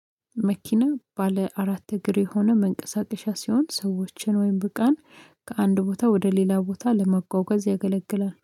መኪና ባለ አራት እግር የሆነ መንቀሳቀሻ ሲሆን ሰዎችን ወይም እቃን ከአንድ ቦታ ወደ ሌላ ቦታ ለመጓጓዝ ያገለግላል